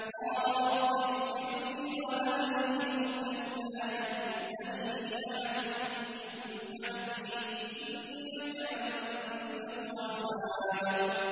قَالَ رَبِّ اغْفِرْ لِي وَهَبْ لِي مُلْكًا لَّا يَنبَغِي لِأَحَدٍ مِّن بَعْدِي ۖ إِنَّكَ أَنتَ الْوَهَّابُ